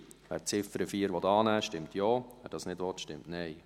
Wer die Ziffer 4 annehmen will, stimmt Ja, wer dies nicht will, stimmt Nein.